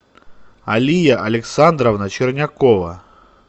алия александровна чернякова